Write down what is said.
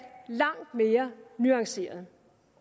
langt mere nuanceret